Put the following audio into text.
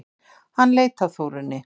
Hann leit á Þórunni.